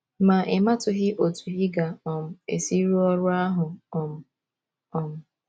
Ma ị matụghị otú ị ga um - esi rụọ ọrụ ahụ um um.